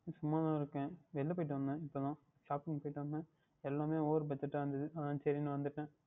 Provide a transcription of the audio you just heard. சும்மா தான் இருக்கின்றேன் வெளியில் போய்விட்டு வந்தேன் இப்பொழுதுதான் Shopping போய்விட்டு வந்தேன் எல்லாமுமே Over Budget டாக இருந்தது அதுதான் திரும்பி வந்துவிட்டேன்